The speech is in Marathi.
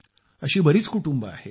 अशी बरीच कुटुंबे आहेत